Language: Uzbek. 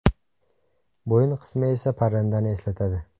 Bo‘yin qismi esa parrandani eslatadi.